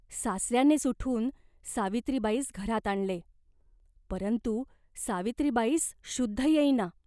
सासऱ्यानेच उठून सावित्रीबाईस घरात आणले, परंतु सावित्रीबाईस शुद्ध येईना.